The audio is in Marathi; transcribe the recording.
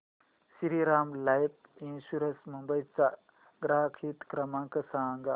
श्रीराम लाइफ इन्शुरंस मुंबई चा ग्राहक हित क्रमांक सांगा